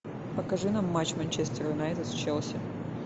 покажи нам матч манчестер юнайтед с челси